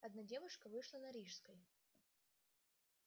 одна девушка вышла на рижской